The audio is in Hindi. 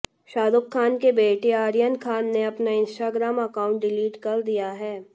शाहरुख खान के बेटे आर्यन खान ने अपना इंस्टाग्राम अकाउंट डिलीट कर दिया है